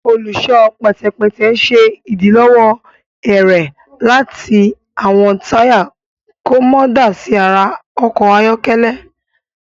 Olùṣọ pẹtẹpẹtẹ ṣe idilọwọ ẹrẹ láti awọn taya kò mọ dá sí àrà ọkọ ayọkẹlẹ